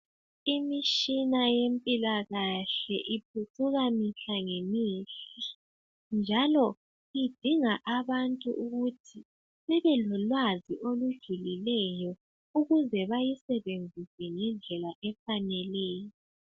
Imishina yempilakahle iphucuka mihla ngemihla, njalo idinga abantu ukuthi bebelolwazi olujulileyo ukuze bayisebenzise ngendlela efaneleyo.